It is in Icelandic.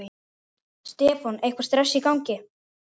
Stefán: Eitthvað stress í gangi?